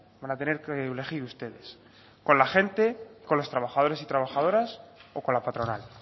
van a tener que elegir ustedes con la gente con los trabajadores y trabajadoras o con la patronal